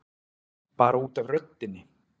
Bara út af röddinni.